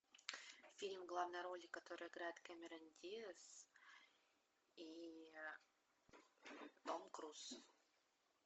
фильм в главной роли которой играет кэмерон диаз и том круз